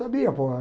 Sabia, pô.